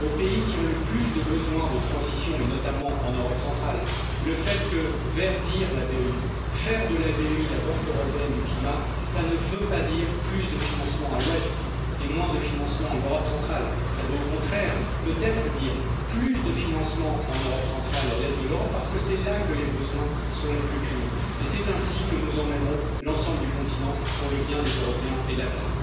aux pays qui ont le plus de besoins de transition, et notamment en Europe centrale, le fait que verdir la BEI, faire de la BEI la Banque européenne du climat, cela ne veut pas dire plus de financement à l'ouest et moins de financement en Europe centrale, cela veut au contraire peut être dire plus de financement en Europe centrale et à l'Est de l'Europe, parce que c'est là que les besoins sont les plus criants, et c'est ainsi que nous emmènerons l'ensemble du continent pour le bien des Européens et de la planète.